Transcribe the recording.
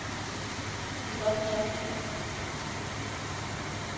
Christopher Toft